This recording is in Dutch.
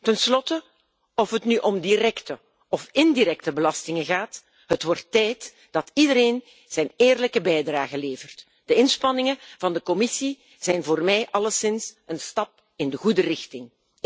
Ten slotte, of het nu om directe of indirecte belastingen gaat, het wordt tijd dat iedereen zijn eerlijke bijdrage levert. De inspanningen van de Commissie zijn voor mij alleszins een stap in de goede richting.